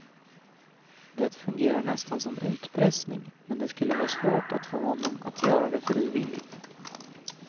Det fungerar nästan som utpressning, men det skulle vara svårt att få honom att göra det frivilligt.